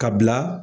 Ka bila